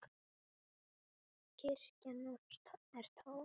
Kirkjan er tóm.